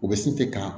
U bɛ se kɛ ka